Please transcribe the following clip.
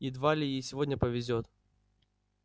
едва ли ей сегодня повезёт